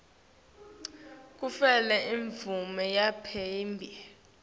kutfole imvume yaphambilini